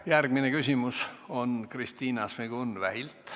Järgmine küsimus on Kristina Šmigun-Vähilt.